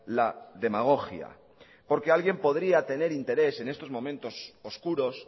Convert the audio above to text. la demagogia porque alguien podría tener interés en estos momentos oscuros